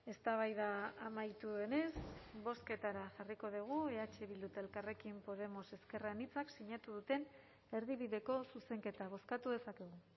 eztabaida amaitu denez bozketara jarriko dugu eh bildu eta elkarrekin podemos ezker anitzak sinatu duten erdibideko zuzenketa bozkatu dezakegu